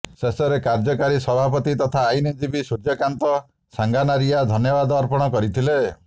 ଶେଷରେ କାର୍ଯ୍ୟକାରୀ ସଭାପତି ତଥା ଆଇନଜୀବୀ ସୂର୍ଯ୍ୟକାନ୍ତ ସାଙ୍ଗାନାରିଆ ଧନ୍ୟବାଦ ଅର୍ପଣ କରିଥିଲେ